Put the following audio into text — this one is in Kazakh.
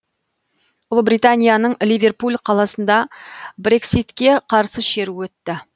ұлыбританияның ливерпуль қаласында брекситке қарсы шеру өтті